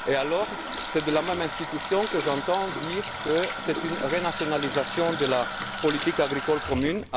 Or, c'est la même institution que j'entends dire qu'il s'agit d'une renationalisation de la politique agricole commune.